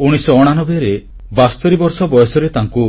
1989 ରେ 72 ବର୍ଷ ବୟସରେ ତାଙ୍କୁ